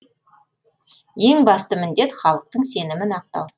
ең басты міндет халықтың сенімін ақтау